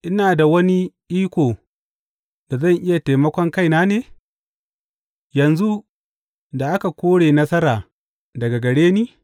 Ina da wani ikon da zan iya taimakon kai na ne, yanzu da aka kore nasara daga gare ni?